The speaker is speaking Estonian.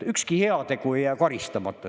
Ükski heategu ei jää karistamata.